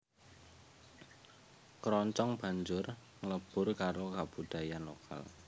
Kroncong banjur nglebur karo kabudayan lokal